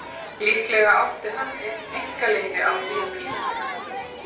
Líklega átti hann einn einkaleyfi á því að pína mig.